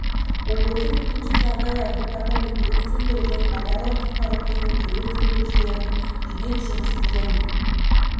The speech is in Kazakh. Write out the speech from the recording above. облысы төтенше жағдайлар департаменті өрт сөндіру және авариялық құтқару қызметі өрт сөндірушілерінің жедел жұмысы және